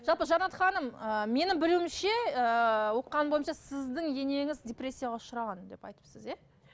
жалпы жанат ханым ы менің білуімше ыыы оқығаным бойынша сіздің енеңіз депрессияға ұшыраған деп айтыпсыз иә